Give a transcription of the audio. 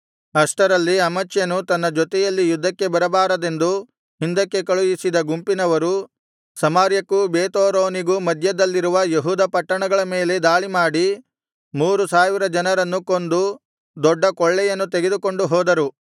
ಅಷ್ಟರಲ್ಲಿ ಅಮಚ್ಯನು ತನ್ನ ಜೊತೆಯಲ್ಲಿ ಯುದ್ಧಕ್ಕೆ ಬರಬಾರದೆಂದು ಹಿಂದಕ್ಕೆ ಕಳುಹಿಸಿದ ಗುಂಪಿನವರು ಸಮಾರ್ಯಕ್ಕೂ ಬೇತ್ಹೋರೋನಿಗೂ ಮಧ್ಯದಲ್ಲಿರುವ ಯೆಹೂದ ಪಟ್ಟಣಗಳ ಮೇಲೆ ದಾಳಿಮಾಡಿ ಮೂರು ಸಾವಿರ ಜನರನ್ನು ಕೊಂದು ದೊಡ್ಡ ಕೊಳ್ಳೆಯನ್ನು ತೆಗೆದುಕೊಂಡು ಹೋದರು